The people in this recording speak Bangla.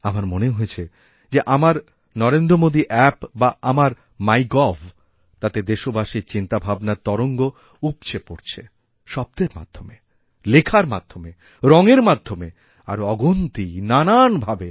আমার মনে হয়েছে যে আমার নরেন্দ্রমোদী অ্যাপ বা আমার মাই গভ তাতে দেশবাসীর চিন্তাভাবনার তরঙ্গ উপছে পড়ছে শব্দের মাধ্যমে লেখার মাধ্যমে রঙের মাধ্যমে আরও অগুনতি নানান ভাবে